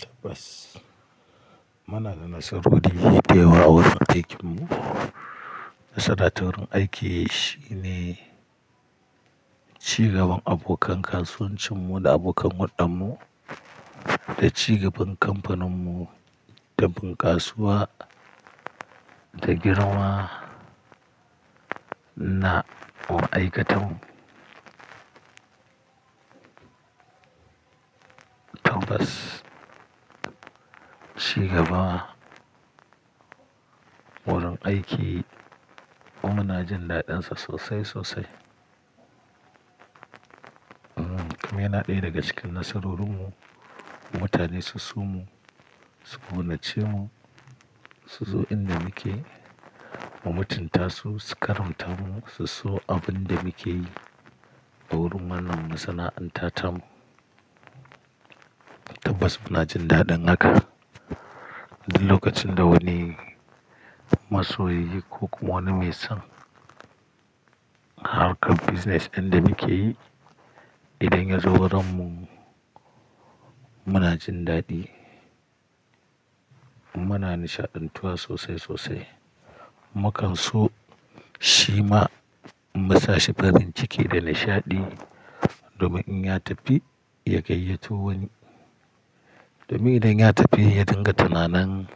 Tabbas. Muna da nasarar kuɗi da yawa a wurin aikinmu. Sadaturin aiki shine cigaban abokan kasuwancinmu da abokan huddan mu da cigaban kamfaninmu da bunkasuwa da girma na aikatau tabbas, cigaba wurin aiki mu muna jin daɗinsa sosai sosai. Kuma yana ɗaya daga cikin nasarorinmu, mutane su so mu, su gudanace mu, su zo inda muke mu mutunta su, su karamta mu, su so abin da muke yi a wurin wannan masana'antar mu. Tabbas muna jin daɗin haka duk lokacin da wani masoyi ko kuma wani mai son harkar business ɗin da muke yi idan ya zo wurinmu muna jin daɗi. Muna nishaɗantuwa sosai sosai. Makanso shi ma mu sa shi farin ciki da nishaɗi domin in ya tafi ya gayyato wani. Domin idan ya tafi ya dinga tunanin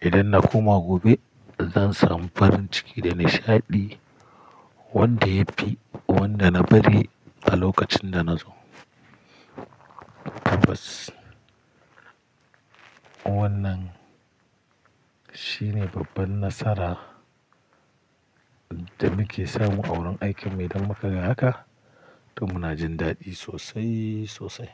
idan na koma gobe zan samu farin ciki da nishaɗi wanda ya fi wanda na bari a lokacin da na zo. Tabbas wannan shine babban nasara da muke samu a wurin aikinmu idan muka yi haka to muna jin daɗi sosai sosai.